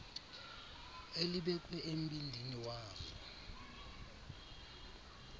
elibekwe embindini wazo